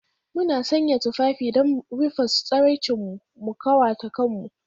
Muna sanya tufafi don rufe tsiraicinmu, mu ƙawata kanmu